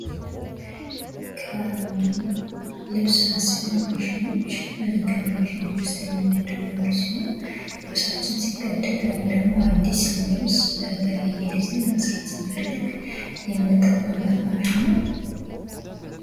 የልብስ መስፊያ ማሽን ከማሽኖች የሚመደብ አንዱ ሲሆን ልብሳችን ሲቀደድ ወይም አዲስ ልብስ በተለያየ ዲዛይን መስራት ስንፈልግ የምንጠቀምበት ማሽን ነው።